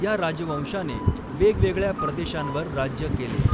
या राजवंशाने वेगवेगळ्या प्रदेशांवर राज्य केले.